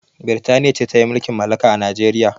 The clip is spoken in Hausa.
Birtania ce ta yi mulkin malaka a Nijeriya